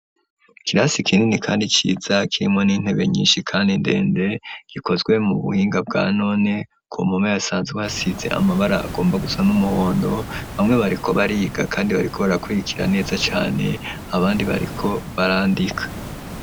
Ikirasi kinini kandi ciza, kirimwo n'intebe nyinshi kandi ndende, gikozwe mu buhinga bwa none, ku mpome hasanzwe hasize amabara agomba gusa n'umuhondo; bamwe bariko bariga kandi bariko barakwirikira neza cane, abandi bariko barandika.